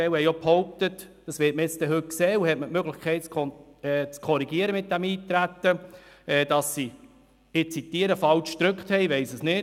Einige haben behauptet – das werden wir heute sehen, und Sie haben die Möglichkeit, dies mit dem Nichteintreten zu korrigieren –, es sei falsch «gedrückt» worden.